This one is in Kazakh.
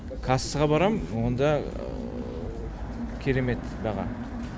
кассаға барам онда керемет баға